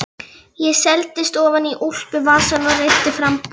Ég seildist ofan í úlpuvasann og reiddi fram bunkann.